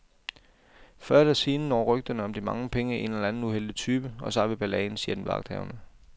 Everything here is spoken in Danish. Før eller siden når rygterne om de mange penge en eller anden uheldig type, og så har vi balladen, siger den vagthavende.